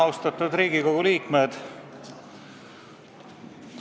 Austatud Riigikogu liikmed!